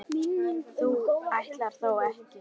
þú ætlar þó ekki.